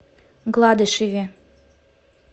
гладышеве